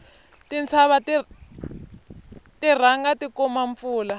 tintshava ti rhanga ti kuma mpfula